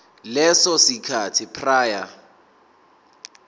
leso sikhathi prior